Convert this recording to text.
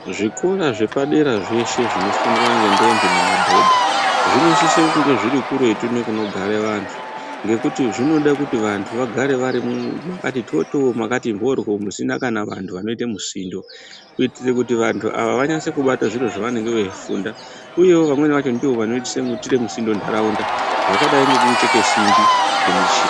Zvikora zvepadera zveshe zvinofundwaa nendombi nemadhodhaa zvinosise kunge zviri kuretu ngekunogare vantu ngekuti zvinode kuti vantu vagare vari mu mwakati tototoo mwakati mbodhloo, musina kana vantu vanoite musindo kuitire kuti vantu ava vanyatsokubata zviro zvavanenge veifunda. Uyevo vamweni vacho ndovanoitire musindo ndaraunda zvakadai ngekucheke simbi ngemishinii.